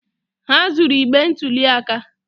Ha zuru igbe ntụli aka